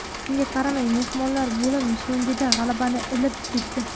Shunga qaramay mehmonlar bo‘lim so‘ngida g‘alabani ilib ketdi.